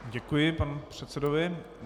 Děkuji panu předsedovi.